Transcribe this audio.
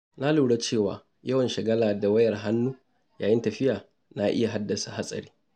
Na lura cewa yawan shagala da wayar hannu yayin tafiya na iya haddasa hatsari.